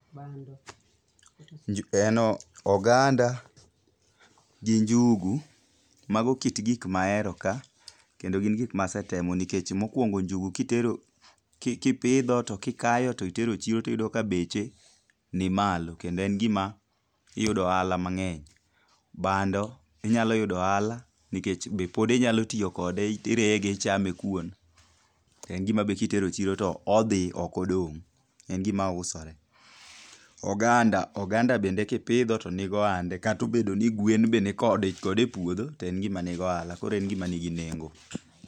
En oganda gi njugu. Mago kit gik mahero ka kendo gin gik masetemo nikech mokwongo njugu kipidho to kikayo to itero chiro to iyudo ka beche nimalo kendo en gima iyudo ohala mang'eny. Bando inyalo yudo ohala nikech be pod inyalo tiyo kode irege ichame kuon,e ngima be kitero chiro to odhi, ok odong'. En gima usore. Oganda, oganda bende kipidho to nigo hande, kata obedo ni gwen be nikode e puodho, to en gima ni gohala. Koro en gima nigi nengo.